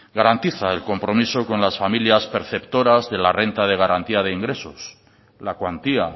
garantiza el compromiso con las familias perceptoras de la renta de garantía de ingresos la cuantía